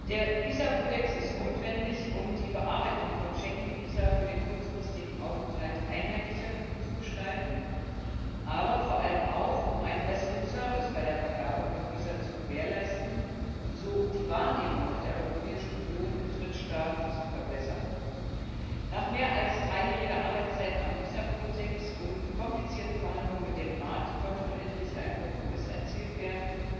Der Visakodex ist notwendig, um die Bearbeitung von Schengen Visa für den kurzfristigen Aufenthalt einheitlicher zu gestalten, aber vor allem auch um einen besseren Service bei der Vergabe von Visa zu gewährleisten und so die Wahrnehmung der Europäischen Union in Drittstaaten zu verbessern. Nach mehr als dreijähriger Arbeitszeit am Visakodex und komplizierten Verhandlungen mit dem Rat konnte nun endlich ein Kompromiss erzielt werden.